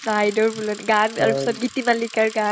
আইদেউৰ বুলনি গান তাৰপিছত গীতিমালীকাৰ গান